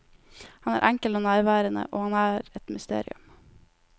Han er enkel og nærværende, og han er et mysterium.